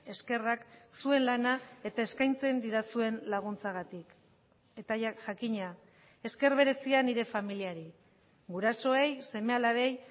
eskerrak zuen lana eta eskaintzen didazuen laguntzagatik eta jakina esker berezia nire familiari gurasoei seme alabei